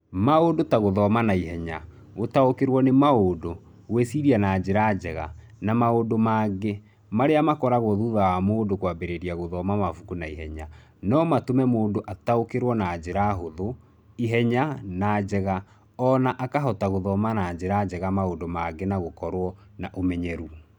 Maũndũ ta gũthoma na ihenya, gũtaũkĩrũo nĩ maũndũ, gwĩciria na njĩra njega, na maũndũ mangĩ, marĩa makũragwo thutha wa mũndũ kwambĩrĩria gũthoma mabuku na ihenya, no matũme mũndũ ataũkĩrũo na njĩra hũthũ, ihenya, na njega, o na akahota gũthoma na njĩra njega maũndũ mangĩ na gũkorũo na ũmenyeru.